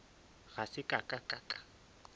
ga se ka ka ka